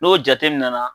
N'o jate nana